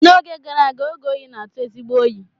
N'oge gara aga, oge oyi na-atụ ezigbo oyi.